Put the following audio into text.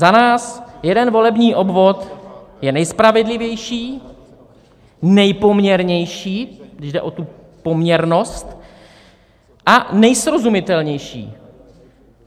Za nás jeden volební obvod je nejspravedlivější, nejpoměrnější - když jde o tu poměrnost - a nejsrozumitelnější.